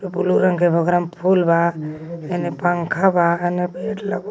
बुलू रंग के गगरा में फूल बा हेने पंखा बा अने बेड लगवल बा.